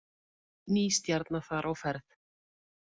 Ný stjarna þar á ferð